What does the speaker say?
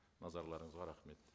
назарларыңызға рахмет